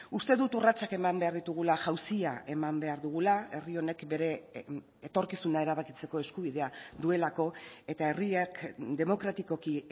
uste dut urratsak eman behar ditugula jauzia eman behar dugula herri honek bere etorkizuna erabakitzeko eskubidea duelako eta herriak demokratikoki